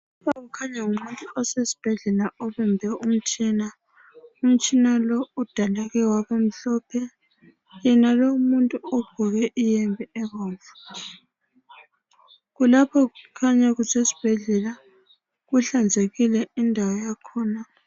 Lapha kukhanya ngumuntu osesibhedlela obambe umtshina. Umtshina lo udaleke wabamhlophe. Yenalowu umuntu ogqoke iyembe ebomvu kulapho kukhanya kusesibhedlela inhlanzekile indawo yakhona.